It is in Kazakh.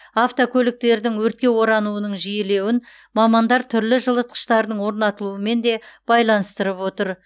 автокөліктердің өртке орануының жиілеуін мамандар түрлі жылытқыштардың орнатылуымен де байланыстырып отыр